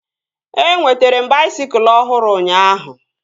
Enwetere m baisikụl ọhụrụ ụnyaahụ